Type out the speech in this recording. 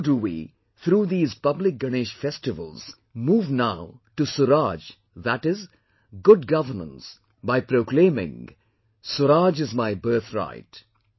So do we through these public Ganesh festivals move now to SURAAJ, that is, good governance by proclaiming 'SURAAJ is my birthright'